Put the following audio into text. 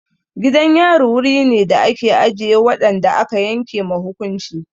Gidan yari wuri ne da ake ajiye waɗanda aka yanke ma hukunci.